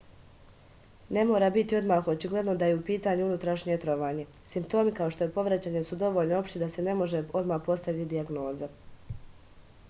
ne mora biti odmah očigledno da je u pitanju unutrašnje trovanje simptomi kao što je povraćanje su dovoljno opšti da se ne može odmah postaviti dijagnoza